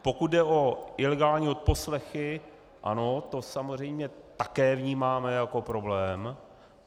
Pokud jde o ilegální odposlechy, ano, to samozřejmě také vnímáme jako problém.